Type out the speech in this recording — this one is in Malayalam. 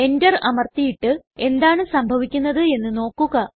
Enter അമർത്തിയിട്ട് എന്താണ് സംഭവിക്കുന്നത് എന്ന് നോക്കുക